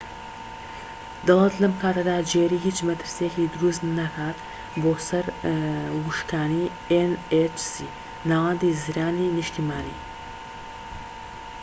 ناوەندی زرانی نیشتیمانی‎ nhc ‎دەڵێت لەم کاتەدا جێری هیچ مەترسیەکی دروست نکات بۆ سەر وشکانی